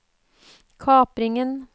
kapringen